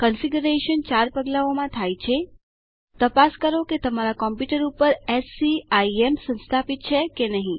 configuration ચાર પગલાઓમાં થાય છે તપાસ કરો કે તમારા કમ્પુટર ઉપર એસસીઆઈએમ સંસ્થાપિત છે કે નહી